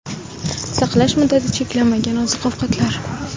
Saqlash muddati cheklanmagan oziq-ovqatlar.